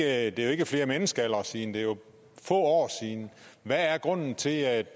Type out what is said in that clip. er jo ikke flere menneskealdre siden det er jo få år siden hvad er grunden til at